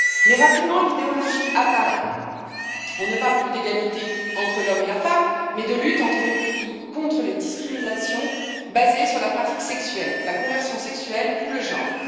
Mais, rapidement, l'idéologie apparaît on ne parle plus d'égalité entre l'homme et la femme, mais de lutte contre les discriminations basées sur la pratique sexuelle, la conversion sexuelle ou le genre.